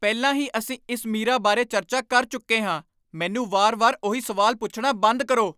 ਪਹਿਲਾਂ ਹੀ ਅਸੀਂ ਇਸ ਮੀਰਾ ਬਾਰੇ ਚਰਚਾ ਕਰ ਚੁੱਕੇ ਹਾਂ! ਮੈਨੂੰ ਵਾਰ ਵਾਰ ਉਹੀ ਸਵਾਲ ਪੁੱਛਣਾ ਬੰਦ ਕਰੋ